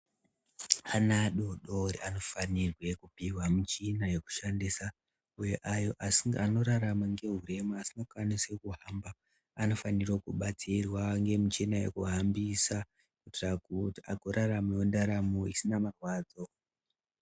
Ana adodori anofanirwe kupihwa michina yekushandisa kune ayo anorarama nehurema asingakwanisi kuhamba anofanirwa kubatsirwa ngemichini yekuhambisa kuitira kuti agoraramawo ndaramo isina marwadzo.